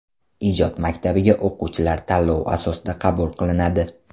Ijod maktabiga o‘quvchilar tanlov asosida qabul qilinadi.